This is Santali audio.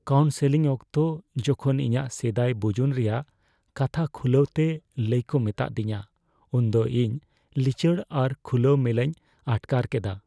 ᱠᱟᱣᱩᱱᱥᱮᱞᱤᱝ ᱚᱠᱛᱚ ᱡᱚᱠᱷᱚᱱ ᱤᱧᱟᱹᱜ ᱥᱮᱫᱟᱭ ᱵᱩᱡᱩᱱ ᱨᱮᱭᱟᱜ ᱠᱟᱛᱷᱟ ᱠᱷᱩᱞᱟᱹᱣ ᱛᱮ ᱞᱟᱹᱭ ᱠᱚ ᱢᱮᱛᱟ ᱫᱤᱧᱟ ᱩᱱᱫᱚ ᱤᱧ ᱞᱤᱪᱟᱹᱲ ᱟᱨ ᱠᱷᱩᱞᱟᱹᱼᱢᱮᱞᱟᱧ ᱟᱴᱠᱟᱨ ᱠᱮᱫᱟ ᱾